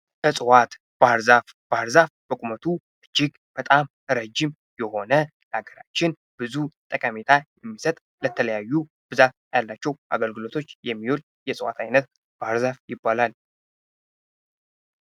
እፅዋቶች ። ባህር ዛፍ ፡ ባህር ዛፍ በቁመቱ እጅግ በጣም ረጅም የሆነ ለሀገራችን ብዙ ጠቀሚታ የሚሰጥ ለተለያዩ ብዛት ላላቸው አገልግሎቶች የሚውል የእፅዋት አይነት ባህር ዛፍ ይባላል ።